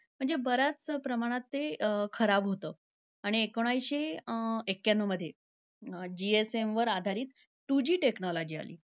म्हणजे बऱ्याचं प्रमाणात ते खराब होतं आणि एकोणीसशे अं एक्याण्णवमध्ये GSM वर आधारित two G technology आली.